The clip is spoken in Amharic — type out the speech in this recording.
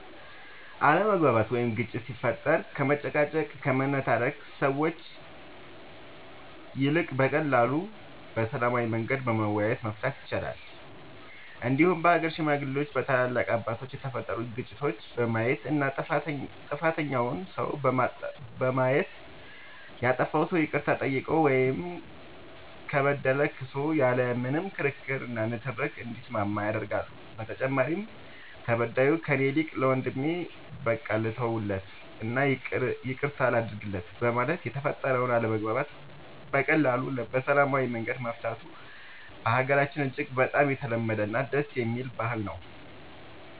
አለመግባባት ወይም ግጭት ሲፈጠር ከመጨቃጨቅ ከመነታረክ ሰዎች ይልቅ በቀላሉ በሰላማዊ መንገድ በመወያየት መፍታት ይቻላል እንዲሁም በሀገር ሽማግሌዎች በታላላቅ አባቶች የተፈጠሩትን ግጭቶች በማየት እና ጥፋተኛውን ሰው በማየት ያጠፋው ሰው ይቅርታ ጠይቆ ወይም ከበደለ ክሶ ያለ ምንም ክርክር እና ንትርክ እንዲስማማ ያደርጋሉ በተጨማሪም ተበዳዩ ከእኔ ይልቅ ለወንድሜ በቃ ልተውለት እና ይቅርታ ላድርግለት በማለት የተፈጠረውን አለመግባባት በቀላሉ በሰላማዊ መንገድ መፍታቱ በሀገራችን እጅግ በጣም የተለመደ እና ደስ የሚል ባህል ነው።